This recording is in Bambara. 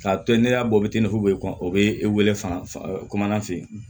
K'a to n'e y'a bɔ i tɛ o bɛ e wele fan fɛ